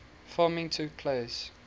filming took place